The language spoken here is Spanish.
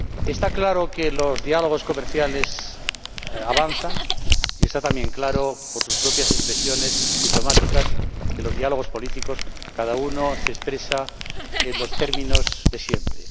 Está claro que los diálogos comerciales avanzan y está también claro, por sus propias expresiones diplomáticas, que, en los diálogos políticos, cada uno se expresa en los términos de siempre.